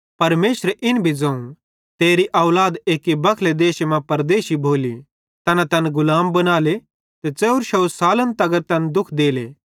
परमेशरे इन भी ज़ोवं तेरी औलाद एक्की होरि मुलखे मां परदेशी भोली तैना तैन गुलाम बनाले ते 400 सालन तगर तैन पुड़ ज़ुलम केरते राले